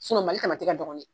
Sinɔn mali tamati ka dɔgɔ nɛ